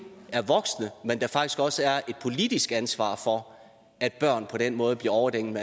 er voksne men der er faktisk også er et politisk ansvar for at børn på den måde bliver overdænget